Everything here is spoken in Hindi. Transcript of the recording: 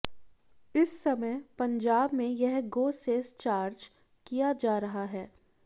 इस समय पंजाब में यह गो सेस चार्ज किया जा रहा है